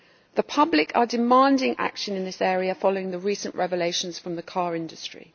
The public are demanding action in this area following the recent revelations from the car industry.